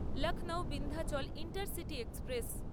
Lucknow Vindhyachal intercity express